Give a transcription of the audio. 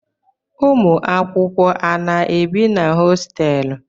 Ụmụakwụkwọ a na-ebi na hositelu?